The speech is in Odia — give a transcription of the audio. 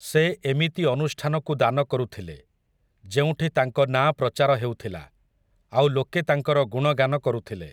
ସେ ଏମିତି ଅନୁଷ୍ଠାନକୁ ଦାନ କରୁଥିଲେ, ଯେଉଁଠି ତାଙ୍କ ନାଁ ପ୍ରଚାର ହେଉଥିଲା, ଆଉ ଲୋକେ ତାଙ୍କର ଗୁଣଗାନ କରୁଥିଲେ ।